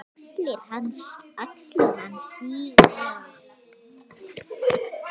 Axlir hans síga.